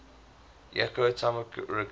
jacob tamarkin